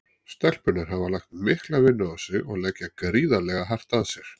Stelpurnar hafa lagt mikla vinnu á sig og leggja gríðarlega hart að sér.